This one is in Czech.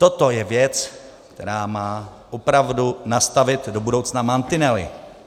Toto je věc, která má opravdu nastavit do budoucna mantinely.